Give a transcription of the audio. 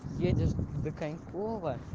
едешь в де коньково